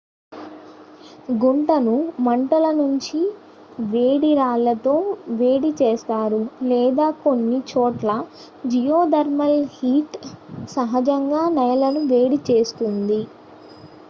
గుంటను మంటల నుంచి వేడి రాళ్ళతో వేడి చేస్తారు లేదా కొన్ని చోట్ల జియోథర్మల్ హీట్ సహజంగా నేలను వేడి చేస్తుంది